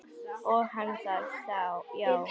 Sagði hann það já.